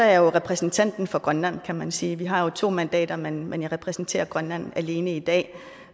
er jeg repræsentanten for grønland kan man sige vi har jo to mandater men men jeg repræsenterer grønland alene i dag